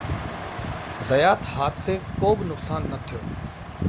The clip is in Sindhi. زيات حادثي ڪو به نقصان نه ٿيو